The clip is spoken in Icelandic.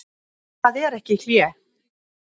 En það er ekki hlé.